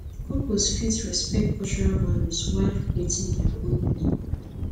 couples fit respect cultural values while creating dia own unique path